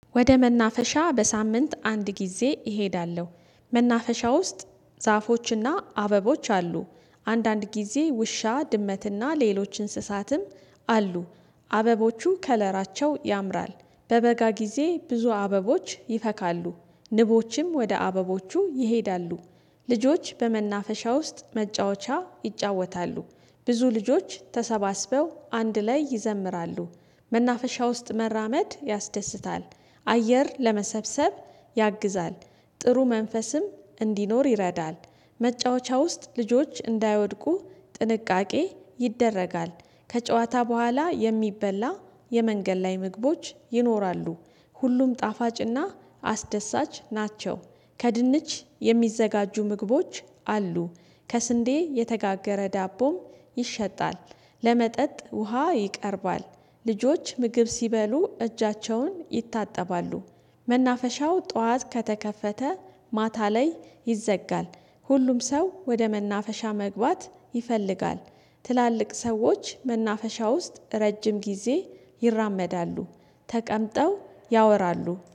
ወደ መናፈሻ በሳምንት አንድ ጊዜ እሄዳለሁ። መናፈሻ ውስጥ ዛፎችና አበቦች አሉ። አንዳንድ ጊዜ ውሻ ድመትና ሌሎች እንስሳትም አሉ። አበቦቹ ከለራቸው ያምራል። በበጋ ጊዜ ብዙ አበቦች ይፈካሉ። ንቦችም ወደ አበቦቹ ይሄዳሉ። ልጆች በመናፈሻ ውስጥ መጫወቻ ይጫወታሉ። ብዙ ልጆች ተሰባስበው አንድ ላይ ይዘምራሉ። መናፈሻ ውስጥ መራመድ ያስደስታል። አየር ለመሰብሰብ ያግዛል። ጥሩ መንፈስም እንዲኖር ይረዳል። መጫወቻ ውስጥ ልጆች እንዳይወድቁ ጥንቃቄ ይደረጋል። ከጨዋታ በኋላ የሚበላ የመንገድ ላይ ምግቦች ይኖራሉ። ሁሉም ጣፋጭና አስደሳች ናቸው። ከድንች የሚዘጋጁ ምግቦች አሉ። ከስንዴ የተጋገረ ዳቦም ይሸጣል። ለመጠጥ ውሃ ይቀርባል። ልጆች ምግብ ሲበሉ እጃቸውን ይታጠባሉ። መናፈሻው ጠዋት ከተከፈተ ማታ ላይ ይዘጋል። ሁሉም ሰው ወደ መናፈሻ መግባት ይፈልጋል። ትላልቅ ሰዎች መናፈሻ ውስጥ ረጅም ጊዜ ይራመዳሉ ተቀምጠው ያወራሉ